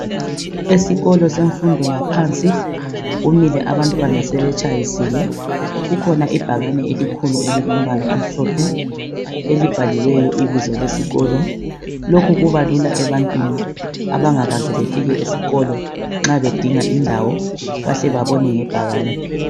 Esikolo semfundo yaphansi kumile abantwana sebetshayisile .Kukhona ibhakane elikhulu elilombala omhlophe .Elibhaliweyo ibizo lesikolo .Lokhu kubalula ebantwini abangakaze befike esikolo nxa bedinga indawo bahle babone ngebhakane .